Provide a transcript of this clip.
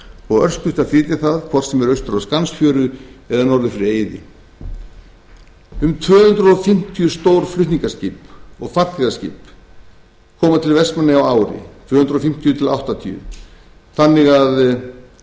og örstutt að flytja það hvort sem er austur á skansfjöru eða norður fyrir eiði um tvö hundruð fimmtíu stór flutningaskip og farþegaskip koma til vestmannaeyja á ári þannig að